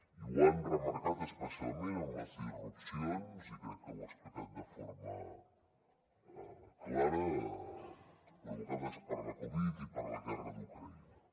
i ho han remarcat especialment amb les disrupcions i crec que ho ha explicat de forma clara provocades per la covid i per la guerra d’ucraïna